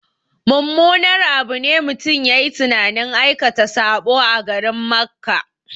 Mummunar abu ne mutum yayi tunanin aikata saɓo a garin Makka